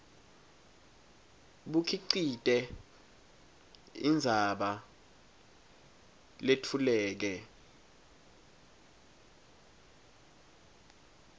bukhicite indzaba letfuleke